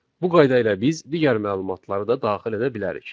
Bu qayda ilə biz digər məlumatları da daxil edə bilərik.